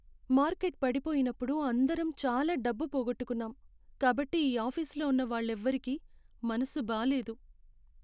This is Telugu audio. మార్కెట్ పడిపోయినప్పుడు అందరం చాలా డబ్బు పోగొట్టుకున్నాం కాబట్టి ఈ ఆఫీసులో ఉన్న వాళ్ళెవరికీ మనసు బాలేదు.